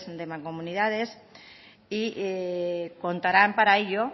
de mancomunidades y contarán para ello